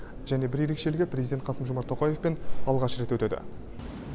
және бір ерекшелігі президент қасым жомарт тоқаевпен алғаш рет өтеді